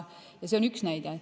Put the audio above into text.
See on üks näide.